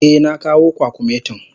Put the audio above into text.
Eh, na kawo kwakumetin.